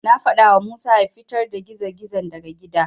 Na faɗawa Musa ya fitar da gizo-gizon daga gidan.